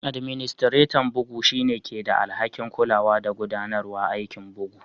Administretan bugu shine ke da alhaki'n kulawa da gudanarwa aikin bugu.